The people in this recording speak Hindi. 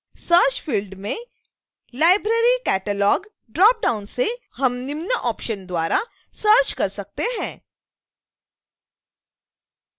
search फिल्ड में library catalog ड्रॉप डाउन से हम निम्न ऑप्शन्स द्वारा सर्च कर सकते हैं: